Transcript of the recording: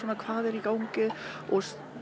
hvað er í gangi og